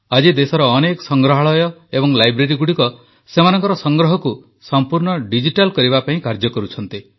ଆଜି ଦେଶର ଅନେକ ସଂଗ୍ରହାଳୟ ଏବଂ ଲାଇବ୍ରେରୀଗୁଡ଼ିକ ସେମାନଙ୍କର ସଂଗ୍ରହକୁ ସମ୍ପୂର୍ଣ୍ଣ ଡିଜିଟାଲ୍ କରିବା ପାଇଁ କାର୍ଯ୍ୟ କରୁଛନ୍ତି